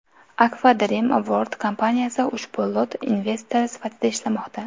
Akfa Dream World kompaniyasi ushbu Lot investori sifatida ishlamoqda.